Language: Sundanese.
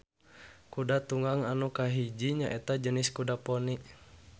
Kuda tunggang anu kahiji nyaeta jenis kuda poni.